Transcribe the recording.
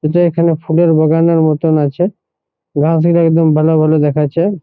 এটা এখানে ফুলের বাগান মতন আছে গাছ গুলা একদম ভালো ভালো দেখাচ্ছে ।